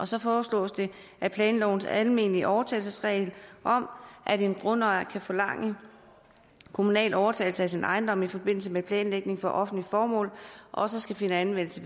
så foreslås det at planlovens almindelige overtagelsesregel om at en grundejer kan forlange kommunal overtagelse af sin ejendom i forbindelse med planlægning til offentlige formål også skal finde anvendelse